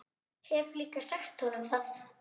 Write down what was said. Hef líka sagt honum það.